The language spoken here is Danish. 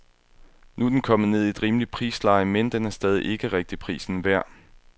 Nu er den kommet ned i et rimeligt prisleje, men den er stadig ikke rigtig prisen værd.